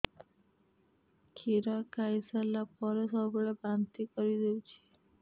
କ୍ଷୀର ଖାଇସାରିଲା ପରେ ସବୁବେଳେ ବାନ୍ତି କରିଦେଉଛି